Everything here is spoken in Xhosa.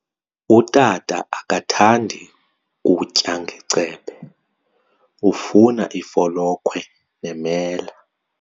Utata akathandi kutya ngecephe, ufuna ifolokhwe nemela.